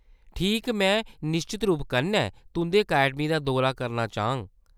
ठीक, में निश्चत रूप कन्नै तुंʼदी अकैडमी दा दौरा करना चाह्ङ।